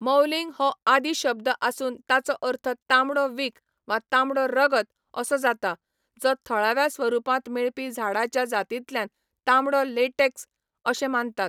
मौलिंग हो आदि शब्द आसून ताचो अर्थ तांबडो विख वा तांबडो रगत असो जाता, जो थळाव्या स्वरुपांत मेळपी झाडाच्या जातींतल्यान तांबडो लॅटेक्स अशें मानतात.